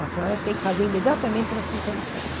A senhora tem que fazer imediatamente transfusão de sangue.